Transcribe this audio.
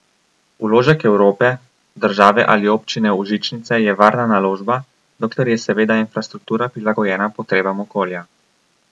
Vložek Evrope, države ali občine v žičnice je varna naložba, dokler je seveda infrastruktura prilagojena potrebam okolja.